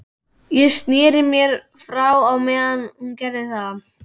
Ég sneri mér frá á meðan hún gerði það.